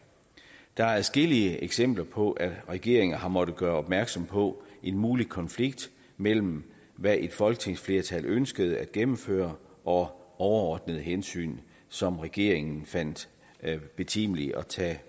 der er adskillige eksempler på at regeringen har måttet gøre opmærksom på en mulig konflikt mellem hvad et folketingsflertal har ønsket at gennemføre og overordnede hensyn som regeringen fandt det betimeligt at tage